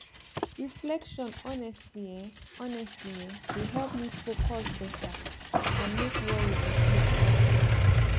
reflection honestly[um]honestly[um]dey help me focus better and make worry reduce all day